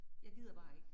Jeg gider bare ikke